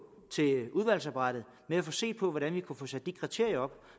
til udvalgsarbejdet med at få set på hvordan vi kan få sat de kriterier op